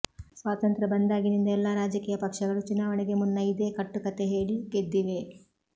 ಸ್ವಾತಂತ್ರ್ಯ ಬಂದಾಗಿನಿಂದ ಎಲ್ಲಾ ರಾಜಕೀಯ ಪಕ್ಷಗಳೂ ಚುನಾವಣೆಗೆ ಮುನ್ನ ಇದೇ ಕಟ್ಟುಕತೆ ಹೇಳಿ ಗೆದ್ದಿವೆ